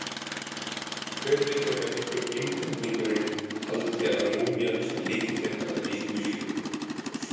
Hver veit nema einhver einfeldningurinn haldi að múmían sé lykillinn að eilífu lífi?